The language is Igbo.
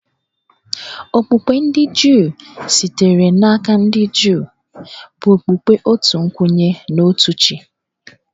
Okpukpe ndị Juu, sitere n’aka ndị Juu, bụ okpukpe otu kwenye na otu chi